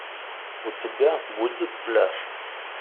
у тебя будет пляж